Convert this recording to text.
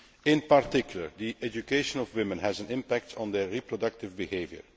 In particular, the education of women has an impact on their reproductive behaviour.